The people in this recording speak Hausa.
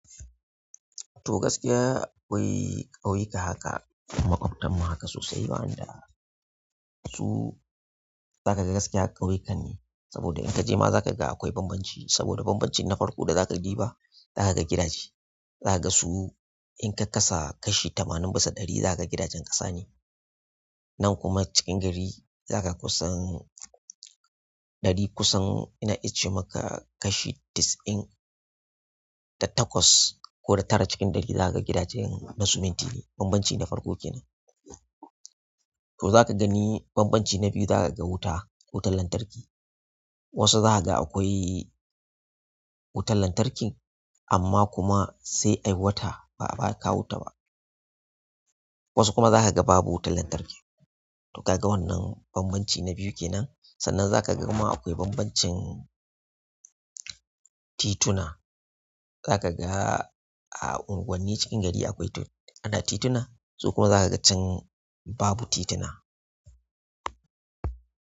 To gaskiya akwai ƙauyuka haka kuma maƙaɓtan mu haka sosai wa an da su. Zaka ga gaskiya ƙauyukan ne saboda in kaje ma za ka ga akwai bambanci saboda bambancin na farko da za ka diba za ka ga gidaje, za ka ga su in ka kasa kashi tamanin bisa ɗari za ka ga gidajen ƙasa ne. Nan kuma cikin gari za ka kusan ɗari kusan ina iche maka kashi dis in da takwas ko da tara cikin ɗari za ka ga gidajen na suminti ne bambancin na farko kenan. To za ka gani bambanci na biyu za ka ga wuta, wutar lantarki. Wasu za ka ga akwai wutar lantarkin amma kuma sai ai wata ba a kawo ta ba. Wasu kuma za ka ga babu wutar lantarki. To ka ga wannan bambanci na biyu kenan. Sannan za ka ga kuma akwai bambancin tituna. Zakaga a unguwannin cikin gari akwai tit tituna su kuma can babu tituna.